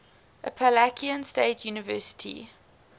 appalachian state university